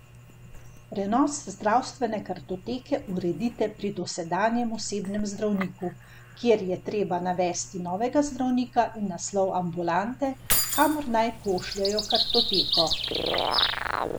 Prenos zdravstvene kartoteke uredite pri dosedanjem osebnem zdravniku, kjer je treba navesti novega zdravnika in naslov ambulante, kamor naj pošljejo kartoteko.